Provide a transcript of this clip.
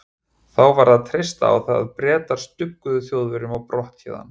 Þá varð að treysta á það, að Bretar stugguðu Þjóðverjum á brott héðan.